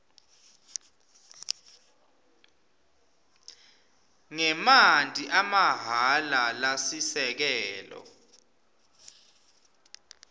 ngemanti amahhala lasisekelo